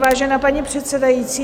Vážená paní předsedající.